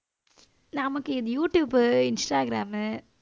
நமக்கு இது YouTube, Instagram